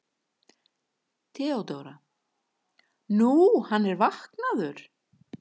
THEODÓRA: Nú, hann er vaknaður.